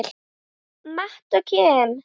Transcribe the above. Matt og Kim.